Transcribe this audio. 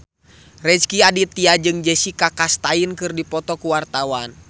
Rezky Aditya jeung Jessica Chastain keur dipoto ku wartawan